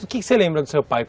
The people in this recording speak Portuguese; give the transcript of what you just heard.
O que que você lembra do seu pai?